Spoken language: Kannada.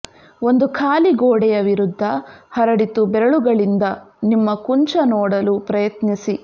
ಒಂದು ಖಾಲಿ ಗೋಡೆಯ ವಿರುದ್ಧ ಹರಡಿತು ಬೆರಳುಗಳಿಂದ ನಿಮ್ಮ ಕುಂಚ ನೋಡಲು ಪ್ರಯತ್ನಿಸಿ